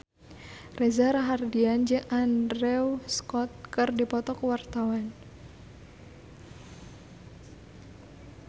Reza Rahardian jeung Andrew Scott keur dipoto ku wartawan